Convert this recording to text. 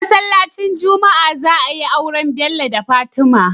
A masalaci juma'a za ayi aure Bello da fatima